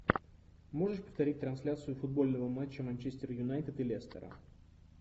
можешь повторить трансляцию футбольного матча манчестер юнайтед и лестера